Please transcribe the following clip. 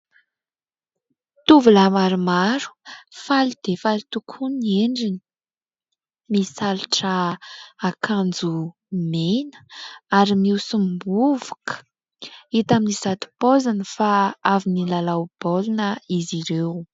Tovolahy maromaro faly dia faly tokoa ny endriny. Misalotra akanjo mena ary mihosom-bovoka, hita amin'izato paoziny fa avy nilalao baolina izy ireo.